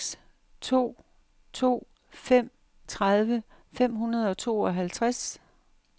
seks to to fem tredive fem hundrede og tooghalvtreds